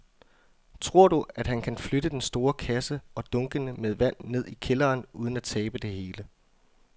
Tror du, at han kan flytte den store kasse og dunkene med vand ned i kælderen uden at tabe det hele?